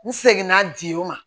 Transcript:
N seginna di o ma